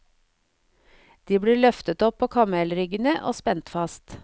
De blir løftet opp på kamelryggene og spent fast.